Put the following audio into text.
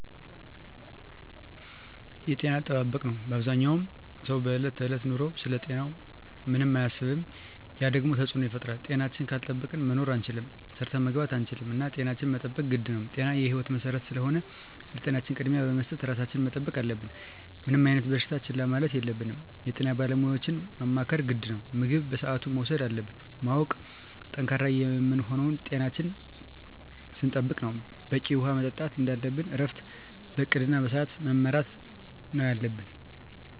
የጤና አጠባበቅ ነው አበዛኛው ሰው በዕለት ከዕለት ኑሮው ስለ ጤናው ምንም አያስብም ያ ደግሞ ተፅዕኖ ይፈጥራል። ጤናችን ካልጠበቅን መኖር አንችልም ሰርተን መግባት አንችልም እና ጤናችን መጠበቅ ግድ ነው ጤና የህይወት መሰረት ስለሆነ ለጤናችን ቅድሚያ በመስጠት ራሳችን መጠበቅ አለብን። ምንም አይነት በሽታ ችላ ማለት የለብንም የጤና ባለሙያዎችን ማማከር ግድ ነው። ምግብ በስአቱ መውሰድ እንዳለብን ማወቅ። ጠንካራ የምንሆነው ጤናችን ስንጠብቅ ነው በቂ ውሀ መጠጣት እንደለብን እረፍት በእቅድ እና በስዐት መመራት ነው የለብን